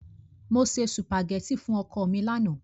Mo se sùpàgẹ́tì fún ọkọ mi lánàá.